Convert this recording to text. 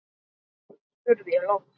spurði ég loks.